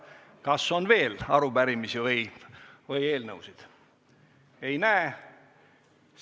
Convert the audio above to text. Kas on veel arupärimisi või eelnõusid?